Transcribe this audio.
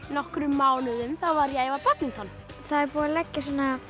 nokkrum mánuðum var ég að æfa badminton það er búið að leggja